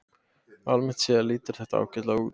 Almennt séð lítur þetta ágætlega út